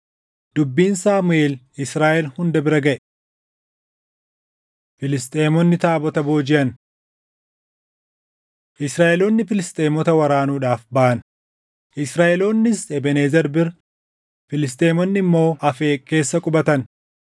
Dubbiin Saamuʼeel Israaʼel hunda bira gaʼe. Filisxeemonni Taabota Boojiʼan Israaʼeloonni Filisxeemota waraanuudhaaf baʼan. Israaʼeloonnis Ebeenezer bira, Filisxeemonni immoo Afeeq keessa qubatan.